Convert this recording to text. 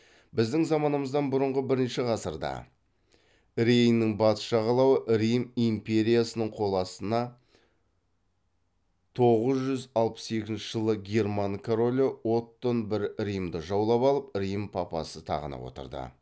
біздің заманымыздан бұрынғы бірінші ғасырда рейннің батыс жағалауы рим империясының қол астаны тоғыз жүз алпыс екінші жылы герман король оттон бір римді жаулап алып рим папасы тағына отырды